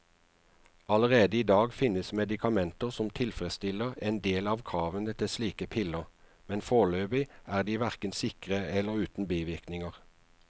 Allerede i dag finnes medikamenter som tilfredsstiller en del av kravene til slike piller, men foreløpig er de hverken sikre eller uten bivirkninger.